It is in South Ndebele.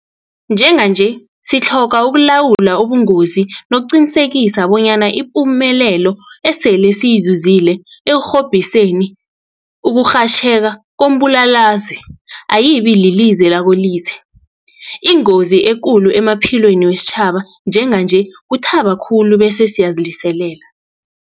Njenganje sitlhoga ukulawula ubungozobu nokuqinisekisa bonyana ipumelelo esele siyizuzile ekurhobhiseni ukurhatjheka kombulalazwe ayibililize lakolize. Ingozi ekulu emaphilweni wesitjhaba njenganje kuthaba khulu bese siyaziliselela.